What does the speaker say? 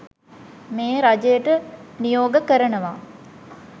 මේ රජයට නියෝග කරනවා